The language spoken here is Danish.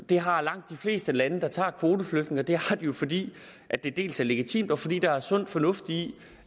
det har langt de fleste lande som tager kvoteflygtninge og det har de jo fordi det dels er legitimt dels fordi der er sund fornuft i